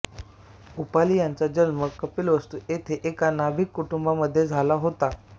उपाली यांचा जन्म कपिलवस्तू येथे एका नाभिक कुटुंबामध्ये झाला होता